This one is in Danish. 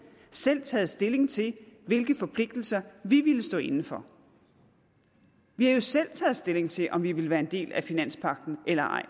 selv taget stilling til hvilke forpligtelser vi ville stå inde for vi har jo selv taget stilling til om vi ville være en del af finanspagten eller ej